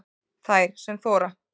Þær sem þora